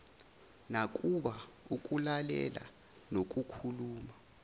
nakuba ukulalela nokukhuluma